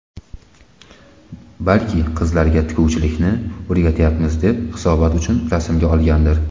Balki qizlarga tikuvchilikni o‘rgatyapmiz deb hisobot uchun rasmga olgandir.